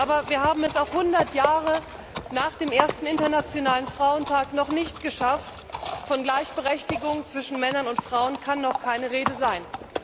Aber wir haben es auch hundert Jahre nach dem ersten Internationalen Frauentag noch nicht geschafft Von Gleichberechtigung zwischen Männern und Frauen kann noch keine Rede sein!